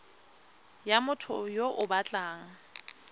ya motho yo o batlang